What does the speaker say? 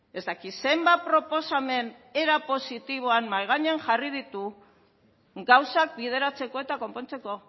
ez dakit zenbat proposamen era positiboan mahai gainean jarri ditu gauzak bideratzeko eta konpontzeko